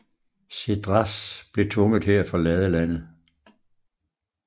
Cédras blev tvunget til at forlade landet